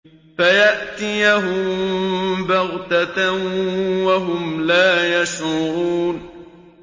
فَيَأْتِيَهُم بَغْتَةً وَهُمْ لَا يَشْعُرُونَ